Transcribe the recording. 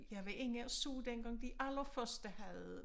Jeg var inde og så dengang de allerførste havde